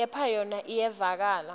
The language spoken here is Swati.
kepha yona iyevakala